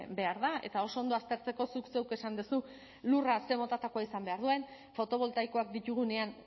behar da eta oso ondo aztertzeko zuk zeuk esan duzu lurra ze motakoa izan behar duen fotoboltaikoak ditugunean